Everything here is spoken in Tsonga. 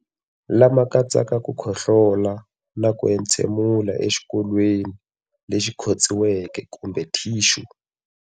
Lama katsaka ku khohlola na ku entshemulela exikokolweni lexi khotsiweke kumbe thixu.